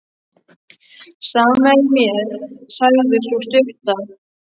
Sama er mér, sagði sú stutta.